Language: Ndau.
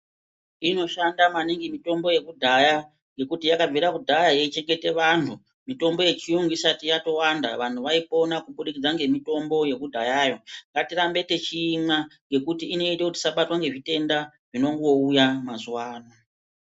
Inoshanda maningi mitombo yekudhaya ngekuti yakabvira kudhaya yeichengete vanhu. Mitombo yechiyungu isati yatowanda vanhu vaipona kubudikidza ngemitombo yekudhayayo. Ngatirambe techiimwa ngekuti inoita kuti tisabatwa ngezvitenda zvinongouya mazuwa ano.